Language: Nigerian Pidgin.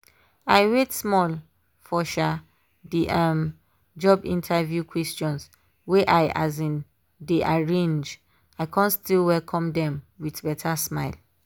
i wait small for um the um job interview questions wey i um dey arrange i con still welcome dem with beta smile.